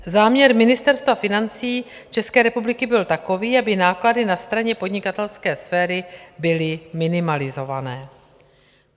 Záměr Ministerstva financí České republiky byl takový, aby náklady na straně podnikatelské sféry byly minimalizované.